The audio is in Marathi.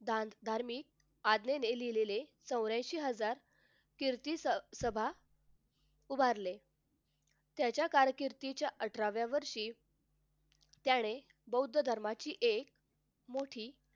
धार्मिक आज्ञेने लिहिलेले चौऱ्याऐंशी हजार किर्ती सभा उभारले. त्याच्या कारकिर्दीच्या अठराव्या वर्षी त्याने बौद्ध धर्माची एक मोठी